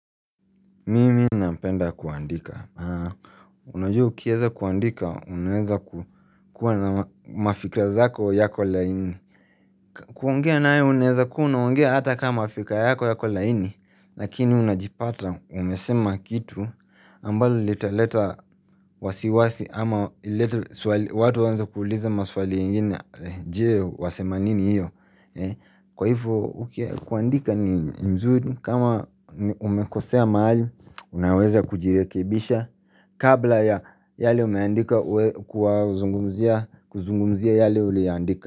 Mimi napenda kuandika. Unajua ukieze kuandika, unaweza kukua na mafikra zako yako laini. Kuongea nayo unaeza kuwa unaongea ata kama fikra yako yako laini. Lakini unajipata umesema kitu ambalo litaleta wasiwasi ama lileta watu waanze kuuliza maswali ingine je wasema nini hiyo. Kwa hivyo kuandika ni mzuri kama umekosea mahali unaweza kujirekebisha kabla ya yale umeandika kuzungumzia yale uliandika.